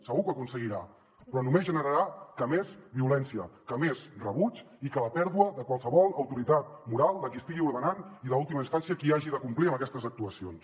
segur que ho aconseguiran però només generaran més violència més rebuig i la pèrdua de qualsevol autoritat moral de qui estigui ordenant i en última instància de qui hagi de complir amb aquestes actuacions